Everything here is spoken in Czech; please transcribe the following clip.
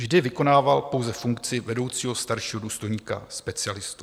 Vždy vykonával pouze funkci vedoucího staršího důstojníka-specialisty.